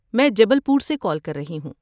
میں جبل پور سےکال کر رہی ہوں۔